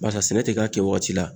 Barisa sɛnɛ ti k'a kɛ waati la.